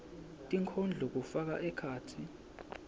tinkondlo kufaka ekhatsi